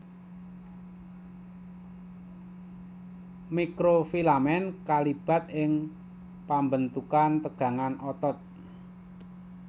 Mikrofilamen kalibat ing pambentukan tegangan otot